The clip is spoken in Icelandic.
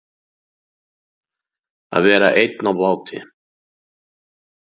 Að vera einn á báti